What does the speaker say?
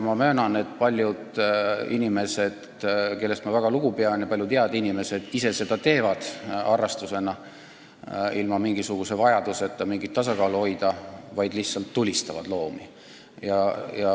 Ma möönan, et paljud inimesed, kellest ma väga lugu pean, paljud head inimesed ise seda teevad, nad teevad seda harrastusena, ilma mingisuguse vajaduseta mingit tasakaalu hoida, vaid lihtsalt tulistavad loomi.